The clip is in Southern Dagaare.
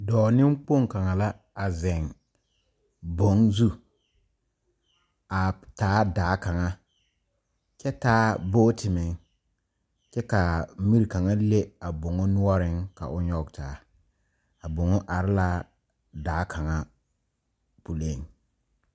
Dɔɔ nekpong kanga la a zeŋ boŋ zu a taa daa kanga kyɛ taa bɔkte meŋ. Kyɛ ka a miri kanga leŋ a boŋa nuoreŋ ka o yɔge taa. A boŋa are la daa kanga puliŋ